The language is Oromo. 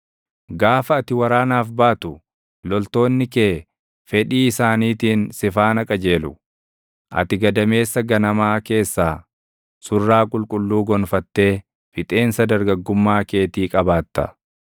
Gaafa ati waraanaaf baatu, loltoonni kee fedhee isaaniitiin si faana qajeelu. Ati gadameessa ganamaa keessaa, surraa qulqulluu gonfattee fixeensa dargaggummaa keetii qabaatta.